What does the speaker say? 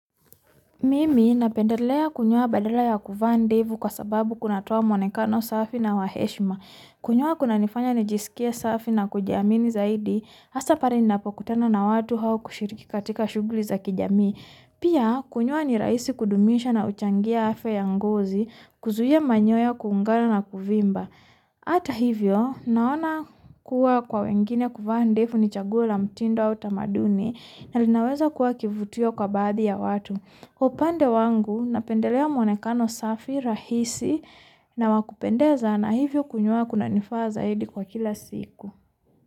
Mimi na pendelea kunyoa badala ya Kunyoa ndevu kwa sababu kunatoa mwonekano safi na waheshima. Kunyoa kuna nifanya nijisikie safi na kujamini zaidi hasa pale ninapokutana na watu au kushiriki katika shuguli za kijamii. Pia kunyoa ni rahisi kudumisha na huchangia afya ya ngozi, kuzuia manyoya kuungana na kuvimba. Hata hivyo, naona kuwa kwa wengine kuva ndevu ni chaguo la mutindo au tamaduni, na linaweza kua kivutio kaadhadi ya watu. Upande wangu na pendelea mwonekano safi rahisi na wakupendeza na hivyo kunyoa kuna nifanya zaidi kwa kila siku.